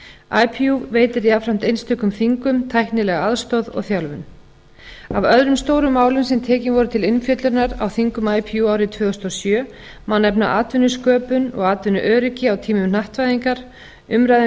pakistan ipu veitir jafnframt einstökum þingum tæknilega aðstoð og þjálfun af öðrum stórum málum sem tekin voru til umfjöllunar á þingum ipu árið tvö þúsund og sjö en efna atvinnusköpun og atvinnuöryggi á tímum hnattvæðingar umræða um